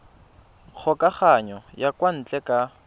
kgokagano ya kwa ntle ka